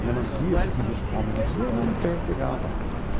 A melancia, você queria chupar uma melancia ia lá no pé pegava.